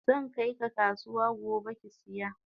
Zankai ka kasuwa gobe kisiya.